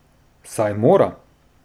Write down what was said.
Saj mora!